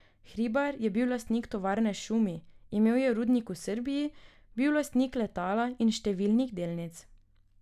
Hribar je bil lastnik tovarne Šumi, imel je rudnik v Srbiji, bil lastnik letala in številnih delnic.